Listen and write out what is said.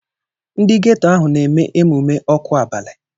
Ndị geto ahụ na-eme emume ọkụ abalị.